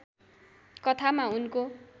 कथामा उनको